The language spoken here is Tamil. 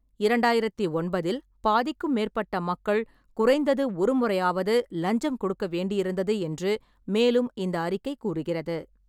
இரண்டாயிரத்து ஒன்பதில் பாதிக்கும் மேற்பட்ட மக்கள் குறைந்தது ஒரு முறையாவது லஞ்சம் கொடுக்க வேண்டியிருந்தது என்று மேலும் இந்த அறிக்கை கூறுகிறது.